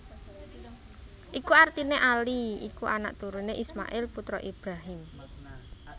Iku artiné Ali iku anak turuné Ismail putra Ibrahim